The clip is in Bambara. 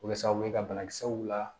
O bɛ kɛ sababu ye ka banakisɛw la